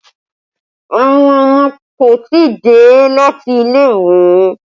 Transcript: Àwọn ọmọ kò tí ì dé láti ilé ìwé